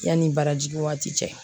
Yanni barajigin waati cɛ